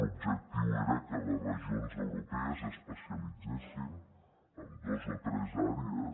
l’objectiu era que les regions europees s’especialitzen en dos o tres àrees